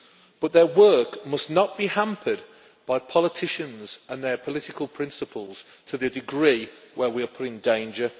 But their work must not be hampered by politicians and their political principles to the degree where we are put in danger.